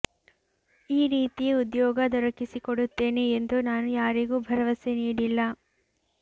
ಈ ರೀತಿ ಉದ್ಯೋಗ ದೊರಕಿ ಸಿಕೊಡುತ್ತೇನೆ ಎಂದು ನಾನು ಯಾರಿಗೂ ಭರವಸೆ ನೀಡಿಲ್ಲ